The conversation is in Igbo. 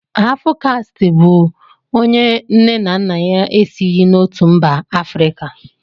Hafụkastị bụ onye nne na nna ya na-esighi n'otu mba Afrịka